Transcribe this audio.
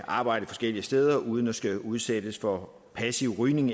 arbejde forskellige steder uden eksempelvis at skulle udsættes for passiv rygning